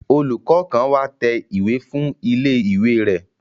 Olùkọ́ kan wá tẹ ìwé fún ilé ìwé rẹ̀